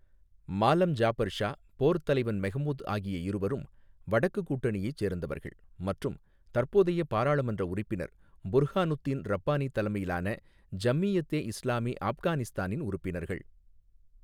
மாலம் ஜாபர் ஷா, போர்த் தலைவன் மெஹ்மூத் ஆகிய இருவரும் 'வடக்குக் கூட்டணியை' சேர்ந்தவர்கள் மற்றும் தற்போதைய பாராளுமன்ற உறுப்பினர் புர்ஹானுத்தீன் ரப்பானி தலைமையிலான ஜம்மியத்தே இஸ்லாமி ஆப்கானிஸ்தானின் உறுப்பினர்கள்.